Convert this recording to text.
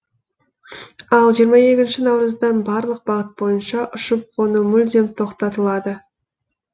ал жиырма екінші наурыздан барлық бағыт бойынша ұшып қону мүлдем тоқтатылады